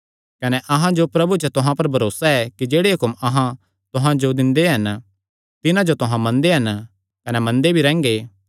कने अहां जो प्रभु च तुहां पर भरोसा ऐ कि जेह्ड़े हुक्म अहां तुहां जो दिंदे हन तिन्हां जो तुहां मनदे हन कने मनदे भी रैंह्गे